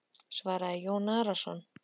svaraði Jón Arason.